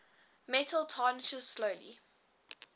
metal tarnishes slowly